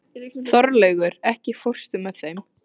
Þorlaugur, ekki fórstu með þeim?